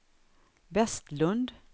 Vestlund